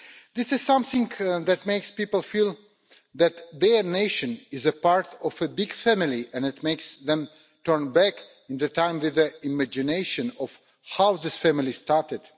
This is something that makes people feel that their nation is part of a big family and it makes them turn back in time and imagine how this family started.